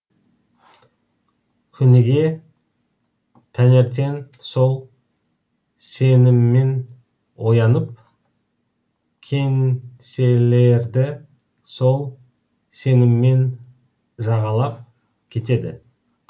күніге таңертең сол сеніммен оянып кеңселерді сол сеніммен жағалап кетеді